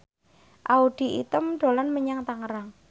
Audy Item dolan menyang Tangerang